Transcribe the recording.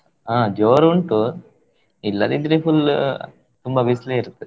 ಹಾ ಜೋರ್ ಉಂಟು ಇಲ್ಲದಿದ್ರೆ full ತುಂಬಾ ಬಿಸಿಲೆ ಇರತ್ತೆ.